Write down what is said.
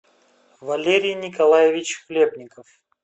валерий николаевич хлебников